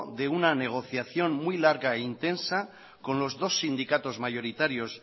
de una negociación muy larga e intensa con los dos sindicatos mayoritarios